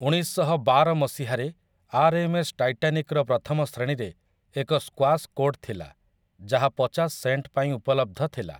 ଉଣେଇଶଶହବାର ମସିହାରେ, ଆର୍‌ଏମ୍‌ଏସ୍ ଟାଇଟାନିକ୍‌ର ପ୍ରଥମ ଶ୍ରେଣୀରେ ଏକ ସ୍କ୍ୱାସ୍ କୋର୍ଟ ଥିଲା ଯାହା ପଚାଶ ସେଣ୍ଟପାଇଁ ଉପଲବ୍ଧ ଥିଲା ।